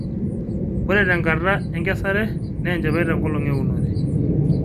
ore tee enkata enkesare naa enchipai te nkolong eunore